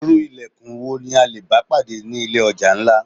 Irú ìlẹ̀kùn wo ni a lè bá pàdé ni ilé ọjà ńlá?